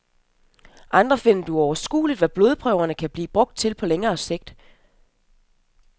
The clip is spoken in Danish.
Andre finder det uoverskueligt, hvad blodprøverne kan blive brugt til på længere sigt.